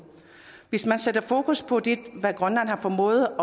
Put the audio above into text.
hvis man sætter fokus på hvad grønland har formået